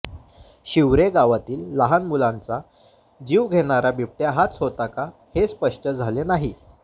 शिवरे गावातील लहान मुलांचा जीव घेणारा बिबट्या हाच होता का हे स्पष्ट झाले नाही